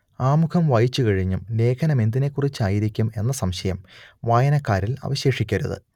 ആമുഖം വായിച്ചുകഴിഞ്ഞും ലേഖനമെന്തിനെക്കുറിച്ചായിരിക്കും എന്ന സംശയം വായനക്കാരിൽ അവശേഷിക്കരുത്